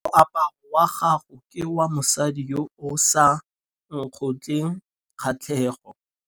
Moaparô wa gagwe ke wa mosadi yo o sa ngôkeng kgatlhegô.